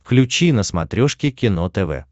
включи на смотрешке кино тв